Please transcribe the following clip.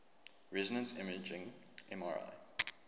resonance imaging mri